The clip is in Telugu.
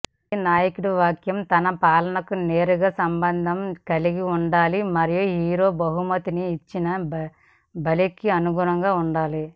ప్రతినాయకుడి వాక్యం తన పాపాలకు నేరుగా సంబంధం కలిగి ఉండాలి మరియు హీరో బహుమతిని ఇచ్చిన బలికి అనుగుణంగా ఉండాలి